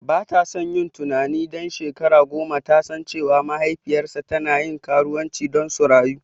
Batason yin tunanin ɗan shekara goma yasan cewa mahaifiyarsa tana karuwanci don su rayu.